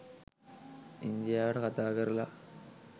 ඉන්දියාවට කතාකරලා